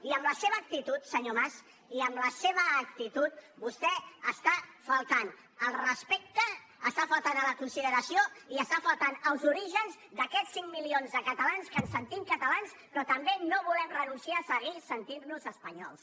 i amb la seva actitud senyor mas i amb la seva actitud vostè està faltant al respecte està faltant a la consideració i està faltant als orígens d’aquests cinc milions de catalans que ens sentim catalans però també no volem renunciar a seguir sentint nos espanyols